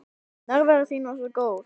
Nærvera þín var svo góð.